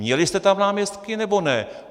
Měli jste tam náměstky, nebo ne?